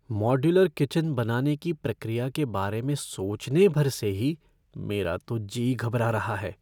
Modular kitchen बनाने की प्रक्रिया के बारे में सोचने भर से ही मेरा तो जी घबरा रहा है।